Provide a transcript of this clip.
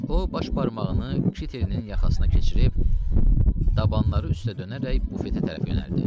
O baş barmağını kitelinin yaxasına keçirib, dabanları üstə dönərək bufetə tərəf yönəldi.